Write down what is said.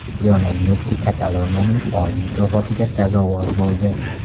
Lionel Messi Kataloniyaning oliy mukofotiga sazovor bo‘ldi.